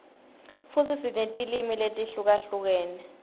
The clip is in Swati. futsi sinetilwimi letihlukahlukene